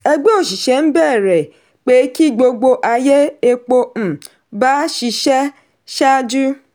ẹgbẹ́ òṣìṣẹ́ ń bẹ̀rẹ̀ pé ki gbogbo ayé epo um bá ṣiṣẹ́ ṣáájú.